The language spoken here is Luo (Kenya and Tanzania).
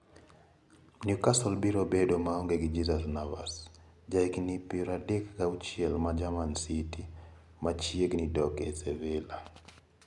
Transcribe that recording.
Newcastle biro bedo maonge gi Jesus Navas, jahigini pier adek gi achiel ma ja Manchester City, ma chiegni dok e Sevilla (Marca).